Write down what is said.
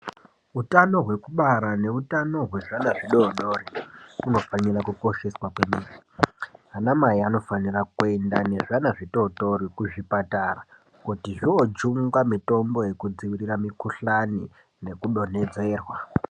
Utano hwekubara neutano hwezvana zvidoodori hunofanira kukosheswa kwemene. Anamai anofanira kuenda nezvana zvitootori kuzvipatara kuti zvoojungwa mitombo yekudzivirira mikuhlani nekudonhedzerwa.